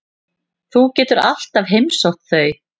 Þú getur alltaf heimsótt þau.